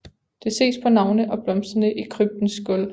Det ses på navne og blomsterne i kryptens gulv